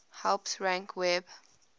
helps rank web